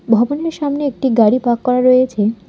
ভবনের সামনে একটি গাড়ি পাক করা রয়েছে।